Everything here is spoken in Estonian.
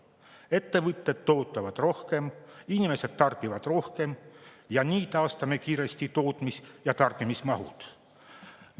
Ettevõtted toodavad rohkem, inimesed tarbivad rohkem, nii taastame kiiresti tootmis- ja tarbimismahud.